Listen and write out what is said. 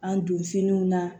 An don finiw na